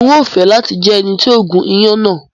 N o fẹ lati jẹ ẹni ti o gún iyán náà